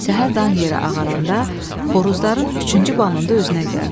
Səhər dan yeri ağaranda, xoruzların üçüncü banında özünə gəldi.